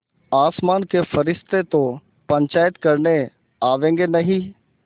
आसमान के फरिश्ते तो पंचायत करने आवेंगे नहीं